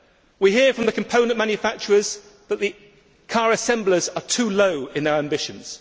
We hear from the component manufacturers that the car assemblers are too low in their ambitions.